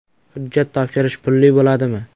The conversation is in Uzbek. Hujjat topshirish pulli bo‘ladimi?